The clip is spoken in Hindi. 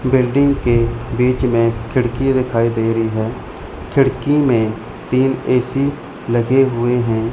बिल्डिंग के बीच में खिड़की दिखाई दे रही है खिड़की में तीन ए_सी लगे हुए हैं।